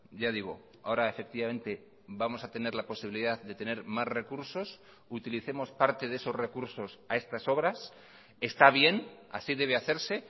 ya digo ahora efectivamente vamos a tener la posibilidad de tener más recursos utilicemos parte de esos recursos a estas obras está bien así debe hacerse